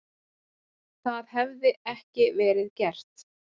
Það hefði ekki verið gert